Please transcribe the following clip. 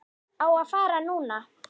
Á að fara núna.